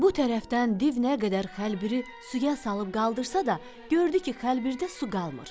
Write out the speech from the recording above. Bu tərəfdən div nə qədər xəlbiri suya salıb qaldırsa da, gördü ki, xəlbirdə su qalmır.